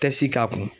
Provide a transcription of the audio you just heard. Tɛ si k'a kun